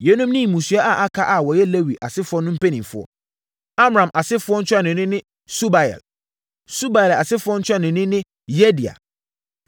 Yeinom ne mmusua a aka a wɔyɛ Lewi asefoɔ no mpanimfoɔ: Amram asefoɔ ntuanoni ne Subael. Subael asefoɔ ntuanoni ne Yehdeia.